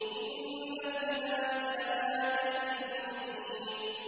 إِنَّ فِي ذَٰلِكَ لَآيَةً لِّلْمُؤْمِنِينَ